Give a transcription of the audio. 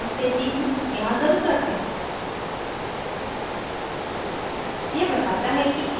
मैं एक magnifying glass let हूँ यहाँ ज़रुरत है